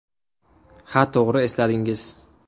Ha, to‘g‘ri esladingiz.